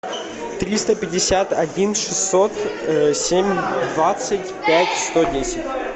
триста пятьдесят один шестьсот семь двадцать пять сто десять